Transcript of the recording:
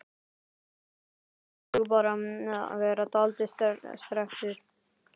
Mér sýndist þú bara vera dáldið strekktur.